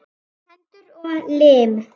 Hendur og lim.